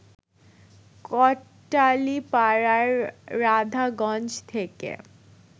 কোটালীপাড়ার রাধাগঞ্জ থেকে